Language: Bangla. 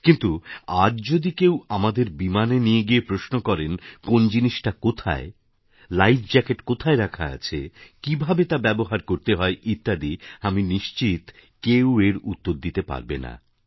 কিন্তু আজ যদি কেউ আমাদের বিমানে নিয়ে গিয়ে প্রশ্ন করে কোন জিনিসটা কোথায় লাইভ জ্যাকেট কোথায় রাখা আছে কীভাবে তা ব্যবহার করতে হয় ইত্যাদি আমি নিশ্চিত কেউ এর উত্তর দিতে পারবে না